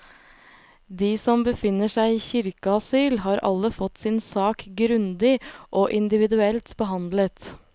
De som befinner seg i kirkeasyl, har alle fått sin sak grundig og individuelt behandlet.